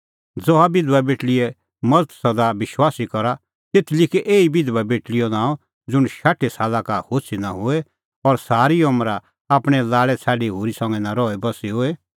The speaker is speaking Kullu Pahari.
ज़हा बिधबा बेटल़ीए मज़त सदा विश्वासी करा तेथ लिखै एही बिधबा बेटल़ीओ नांअ ज़ुंण शाठी साला का होछ़ी नां होए और सारी अमरा आपणैं लाल़ै छ़ाडी होरी संघै नां रहीबस्सी होए